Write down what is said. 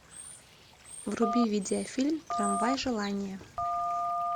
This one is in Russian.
вруби видеофильм трамвай желание